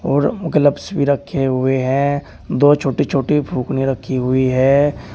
और ग्लव्स भी रखे हुए हैं। दो छोटीछोटी फूकनियाँ रखी हुई हैं।